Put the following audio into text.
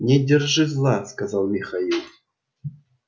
не держи зла сказал михаил